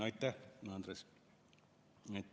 Aitäh, Andres!